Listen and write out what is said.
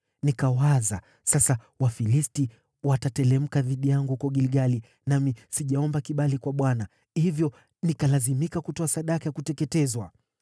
nikawaza, ‘Sasa Wafilisti watateremka dhidi yangu huko Gilgali nami sijaomba kibali kwa Bwana .’ Hivyo nikalazimika kutoa sadaka ya kuteketezwa.”